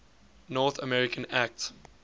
north america act